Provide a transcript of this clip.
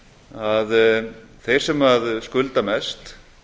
að þeir sem skulda mest